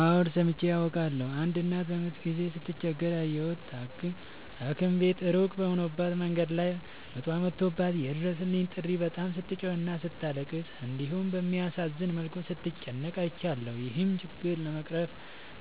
አዎድ ሠምቼ አውቃለሁ። አንድ እናት በምጥ ጊዜ ስትቸገር ያየሁት ታኪም ቤቱ እሩቅ ሆኖባት መንገድ ላይ ምጧ መቶባት የይድረሡልኝ ጥሪ በጣም ስትጮህና ስታለቅስ እንዲሁም በሚያሳዝን መልኩ ስትጨነቅ አይቻለሁ። ይህን ችግር ለመቅረፍ